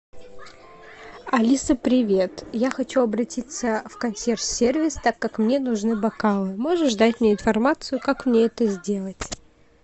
алиса привет я хочу обратиться в консьерж сервис так как мне нужны бокалы можешь дать мне информацию как мне это сделать